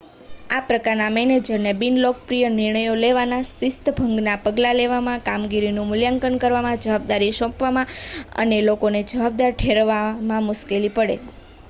આ પ્રકારના મેનેજરને બિનલોકપ્રિય નિર્ણયો લેવામાં શિસ્તભંગના પગલાં લેવામાં કામગીરીનું મૂલ્યાંકન કરવામાં જવાબદારી સોંપવામાં અને લોકોને જવાબદાર ઠેરવવામાં મુશ્કેલી પડે